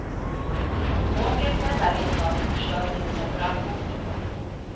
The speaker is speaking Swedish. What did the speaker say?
Om du åker på den där resan, så förstör du julen för allihop.